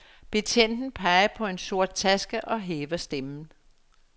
Betjenten peger på en sort taske og hæver stemmen.